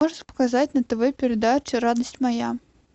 можешь показать на тв передачу радость моя